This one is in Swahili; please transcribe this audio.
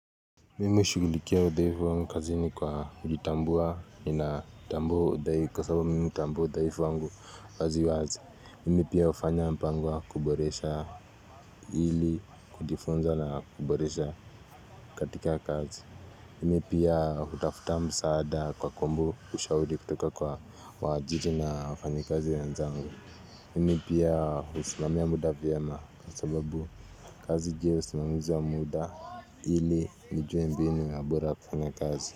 Mimi shugulikia udhaifu wangu kazini kwa kujitambua ninatambua udhaifu wangu wazi wazi. Mimi pia hufanya mpango wa kuboresha hili kujifunza na kuboresha katika kazi. Mimi pia hutafuta msaada kwa kuomba ushauri kutoka kwa waajiri na wafanyikazi wenzangu. Mimi pia husimamia muda vyema Kwa sababu kazi je usimamizi wa muda Hili nijue mbinu na bora kufanya kazi.